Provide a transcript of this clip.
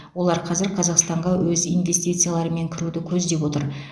олар қазір қазақстанға өз инвестицияларымен кіруді көздеп отыр